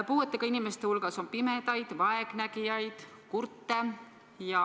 Puuetega inimeste hulgas on pimedaid, vaegnägijaid, kurte.